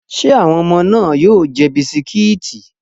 Ṣé àwọn ọmọ náà yóò jẹ bisikíìtì?